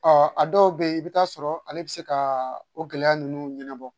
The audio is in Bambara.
Ɔ a dɔw bɛ yen i bɛ t'a sɔrɔ ale bɛ se ka o gɛlɛya ninnu ɲɛnabɔ